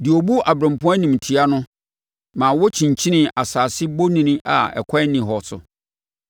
deɛ ɔbu aberempɔn animtiaa no ma wɔkyinkyinii asase bonini a ɛkwan nni hɔ so.